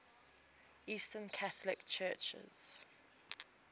eastern catholic churches